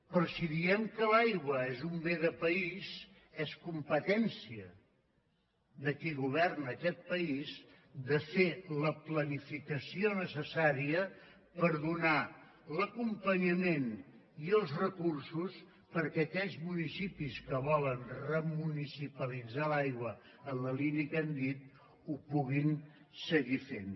però si diem que l’aigua és un bé de país és competència de qui governa aquest país de fer la planificació necessària per donar l’acompanyament i els recursos perquè aquells municipis que volen remunicipalitzar l’aigua en la línia que hem dit ho puguin seguir fent